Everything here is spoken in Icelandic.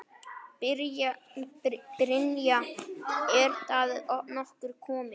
Brynja: Er það nokkuð verra?